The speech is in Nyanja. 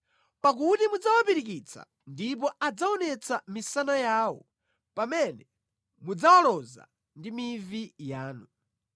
pakuti mudzawapirikitsa ndipo adzaonetsa misana yawo pamene mudzawaloza ndi mivi yanu.